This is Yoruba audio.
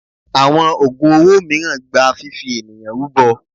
Àwọn ògùn owó mìíràn gba fifi ènìyàn rúbọ.